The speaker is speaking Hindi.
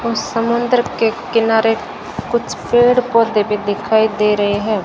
उस समुद्र के किनारे कुछ पेड़ पौधे भी दिखाई दे रहे हैं।